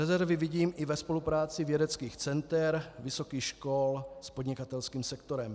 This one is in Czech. Rezervy vidím i ve spolupráci vědeckých center, vysokých škol s podnikatelským sektorem.